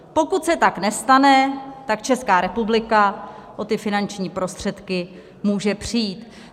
Pokud se tak nestane, tak Česká republika o ty finanční prostředky může přijít.